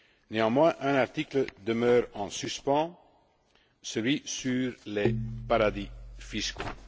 Néanmoins, un article demeure en suspens, celui sur les paradis fiscaux.